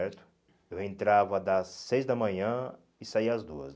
certo. Eu entrava às seis da manhã e saía às duas.